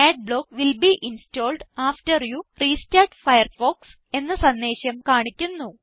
adblock will be installed after you restart Firefox എന്ന സന്ദേശം കാണിക്കുന്നു